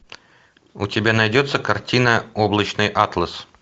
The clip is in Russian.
у тебя найдется картина облачный атлас